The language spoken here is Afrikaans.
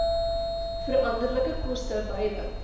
veranderlike koste beide